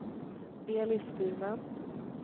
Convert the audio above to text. Elis Burman